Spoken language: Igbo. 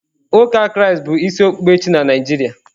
Uka kraisti bụ ịsị okpukpe chi na Naịjirịa.